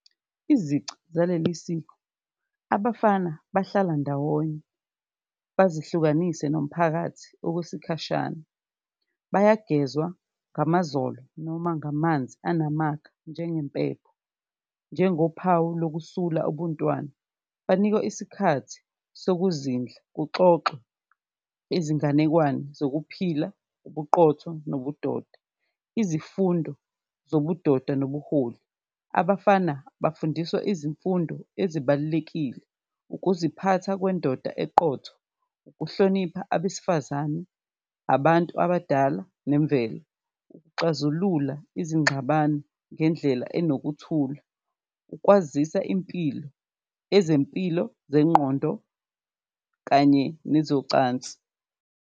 Izici zaleli siko, abafana bahlala ndawonye bazihlukanise nomphakathi okwesikhashana, bayagezwa ngamazolo noma ngamanzi anamakha njengempepho, njengophawu lokusula ubuntwana, banikwe isikhathi sokuzindla, kuxoxwe izinganekwane zokuphila, ubuqotho nobudoda. Izifundo zobudoda nobuholi, abafana bafundiswa izifundo ezibalulekile, ukuziphatha kwendoda eqotho, ukuhlonipha abesifazane, abantu abadala nemvelo, ukuxazulula izingxabano ngendlela enokuthula, ukwazisa impilo, ezempilo zengqondo kanye nezocansi.